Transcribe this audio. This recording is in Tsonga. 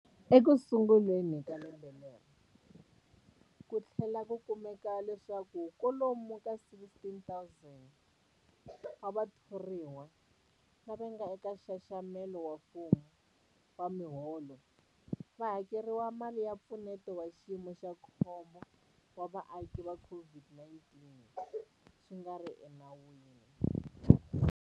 Ekusunguleni ka lembe leri, ku tlhele ku kumeka leswaku kwalomu ka 16,000 wa vathoriwa lava nga eka nxaxamelo wa mfumo wa miholo va hakeriwile mali ya Mpfuneto wa Xiyimo xa Khombo wa Vaaki ya COVID-19 swi nga ri enawini.